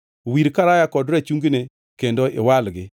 Wir karaya kod rachungine kendo iwalgi.